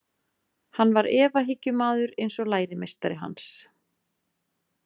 Hann var efahyggjumaður eins og lærimeistari hans.